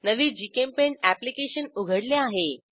नवे GChemPaint application उघडले आहे